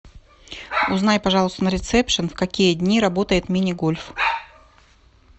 узнай пожалуйста на ресепшн в какие дни работает мини гольф